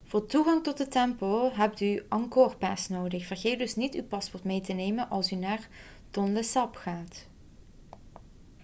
voor toegang tot de tempel hebt u een angkor pass nodig vergeet dus niet uw paspoort mee te nemen als u naar tonle sap gaat